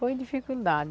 Foi dificuldade.